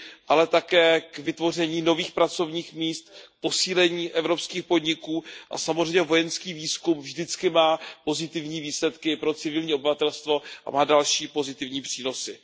ale také k vytvoření nových pracovních míst, posílení evropských podniků a samozřejmě vojenský výzkum vždycky má pozitivní výsledky pro civilní obyvatelstvo a má další pozitivní přínosy.